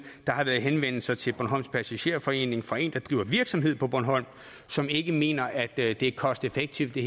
der har været henvendelser til bornholms passagerforening fra en der driver virksomhed på bornholm som ikke mener at det er cost effective